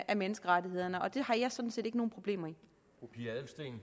af menneskerettighederne og det har jeg sådan set ikke nogen problemer med